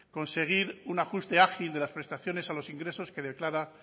conseguir un ajuste ágil de las prestaciones a los ingresos que declara